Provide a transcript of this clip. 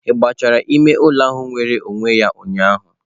Ị gụchara ime ụlọ ahụ nwere onwe ya ụnyaahụ?